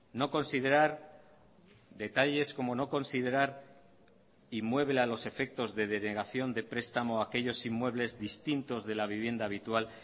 no considerar detalles como no considerar inmueble a los efectos de denegación de prestamo a aquellos inmuebles distintos de la vivienda habitual